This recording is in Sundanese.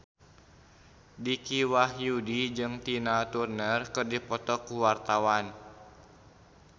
Dicky Wahyudi jeung Tina Turner keur dipoto ku wartawan